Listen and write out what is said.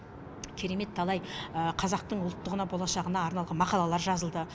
керемет талай қазақтың ұлттығына болашағына арналған мақалалар жазылды